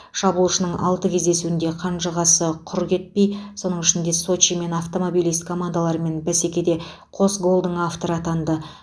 шабуылшының алты кездесуде қанжығасы құр кетпей соның ішінде сочи мен автомобилист командаларымен бәсекеде қос голдың авторы атанды